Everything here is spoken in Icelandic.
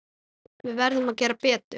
Við verðum að gera betur.